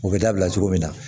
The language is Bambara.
U bɛ dabila cogo min na